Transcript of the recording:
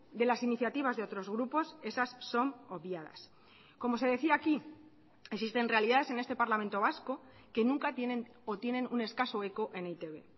de las iniciativas de otros grupos esas son obviadas como se decía aquí existen realidades en este parlamento vasco que nunca tienen o tienen un escaso eco en e i te be